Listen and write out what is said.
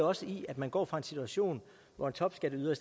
også i at man går fra en situation hvor en topskatteyder